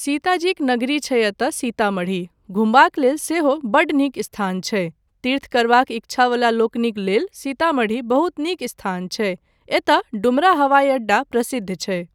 सीताजीक नगरी छै एतय सीतामढ़ी, घूमबाक लेल सेहो बड्ड नीक स्थान छै, तीर्थ करबाक इच्छा वला लोकनिक लेल सीतामढ़ी बहुत नीक स्थान छै, एतय डुमरा हवाइअड्डा प्रसिद्ध छै।